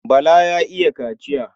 Bala ya iya kaciya.